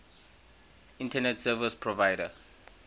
internet service provider